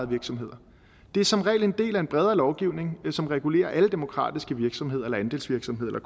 virksomheder det er som regel en del af en bredere lovgivning som regulerer alle demokratiske virksomheder eller andelsvirksomheder